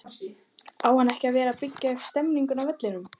Á ekki að vera að byggja upp stemningu á vellinum??